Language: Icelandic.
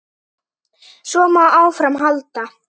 Svo má áfram halda.